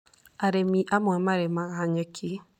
Arĩmi amwe marĩmaga nyeki.